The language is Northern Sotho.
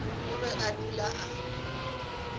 o be a dula a